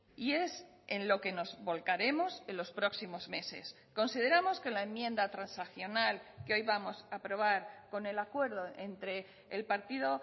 y es en lo que nos volcaremos en los próximos meses consideramos que la enmienda transaccional que hoy vamos a aprobar con el acuerdo entre el partido